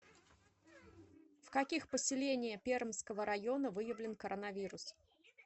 в каких поселения пермского района выявлен коронавирус